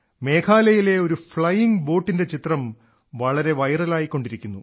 മേഘാലയയിലെ ഒരു ഫ്ളൈയിംഗ് ബോട്ടിന്റെ ചിത്രം വളരെ വൈറലായിക്കൊണ്ടിരിക്കുന്നു